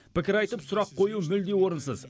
пікір айтып сұрақ қою бұл мүлде орынсыз